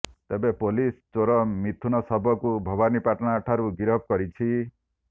ତେବେ ପୋଲିସ ଚୋର ମିଥୁନ ଶବରକୁ ଭବାନୀପାଟଣାଠାରୁ ଗିରଫ କରିଛି